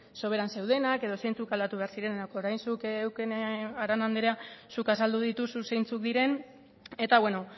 soberan zeudenak edo zeintzuk aldatu behar ziren orain zuk eukene arana anderea zuk azaldu dituzu zeintzuk diren eta beno